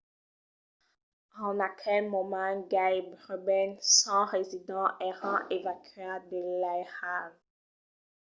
en aquel moment gaireben 100 residents èran evacuats de l’airal